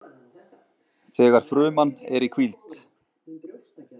Þegar fruman er í hvíld.